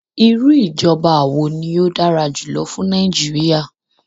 Iru ijọba wo ni o dara julọ fun Naijiria?